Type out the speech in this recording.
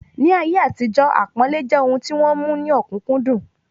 Ni ayé àtijó, àpọ́nlẹ́ jẹ́ ohun tí wọ́n mú ní ọ̀kúnkúndùn